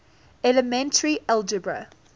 elementary algebra